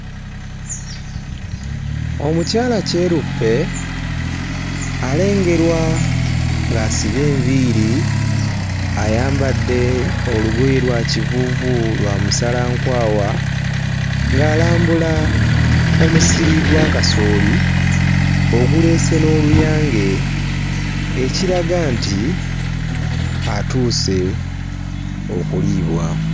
Omukyala kyeruppe alengerwa ng'asibye enviiri, ayambadde olugoye lwa kivuuvu lwa musalankwawa ng'alambula omusiri gwa kasooli oguleese n'oluyange, ekiraga nti atuuse okuliibwa.